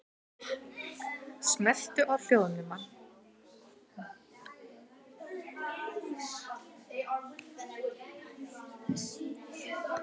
Talað var til dæmis um mörk silfurs.